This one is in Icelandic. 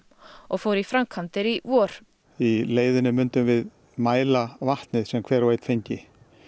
og fór í framkvæmdir í vor í leiðinni myndum við mæla vatnið sem að hver og einn fengi